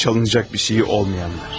Çalınacaq bir şeyi olmayanlar.